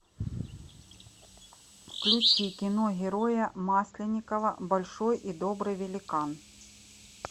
включи кино героя масленникова большой и добрый великан